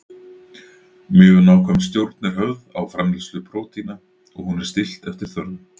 Mjög nákvæm stjórn er höfð á framleiðslu prótína og hún er stillt eftir þörfum.